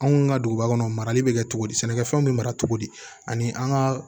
Anw ka duguba kɔnɔ marali bɛ kɛ cogo di sɛnɛkɛfɛnw bɛ mara cogo di ani an ka